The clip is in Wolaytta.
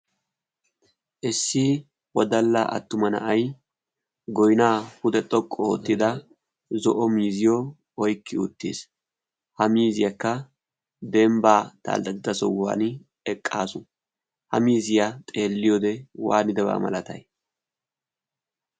issi wodalla attuma na'ay goynaa pude xoqqu oottida zo'o miziyo oykki uttiis. ha miziyaakka dembbaa taaldatida sohuwan eqqaasu ha miziyaa xeelliyode waanidabaa malatay?